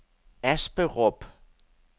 Asperup